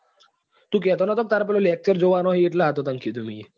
તું કેતો નતો કે તાર પેલા જોવા ના છે એટલે આતો તને કીધું મીયે.